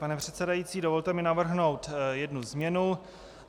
Pane předsedající, dovolte mi navrhnout jednu změnu.